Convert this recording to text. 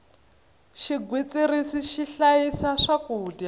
xigwitsirisi xi hlayisa swakudya